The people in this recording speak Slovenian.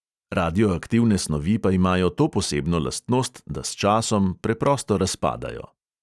Radioaktivne snovi pa imajo to posebno lastnost, da s časom preprosto razpadajo.